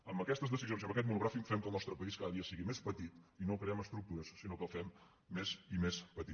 amb aquestes decisions i amb aquest monogràfic fem que el nostre país cada dia sigui més petit i no hi creem estructures sinó que el fem més i més petit